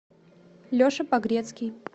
леша погрецкий